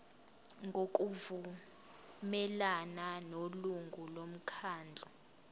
ngokuvumelana nelungu lomkhandlu